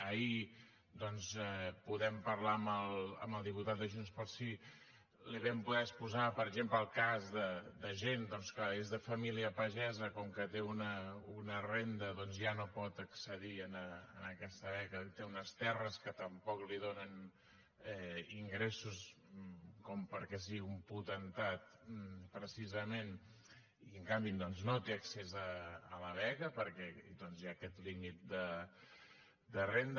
ahir doncs podent parlar amb el diputat de junts pel sí li vam poder exposar per exemple el cas de gent que és de família pagesa que com que té una renda ja no pot accedir a aquesta beca i té unes terres que tampoc li donen ingressos perquè sigui un potentat precisament i en canvi no té accés a la beca perquè hi ha aquest límit de renda